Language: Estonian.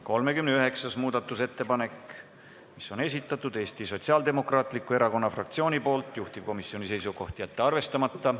39. muudatusettepaneku on esitanud Eesti Sotsiaaldemokraatliku Erakonna fraktsioon, juhtivkomisjoni seisukoht: jätta see arvestamata.